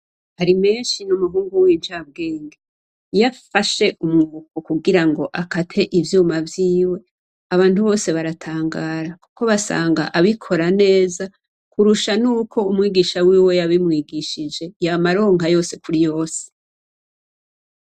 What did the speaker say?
Harimenshi n'umuhungu w'incabwenge. Iyo afashe umwuko kugirango akate ivyuma vyiwe abantu bose baratangara kuko basanga abikora neza kurusha nuko umwigisha wiwe yabimwigishije. Yama aronka yose kuri yose.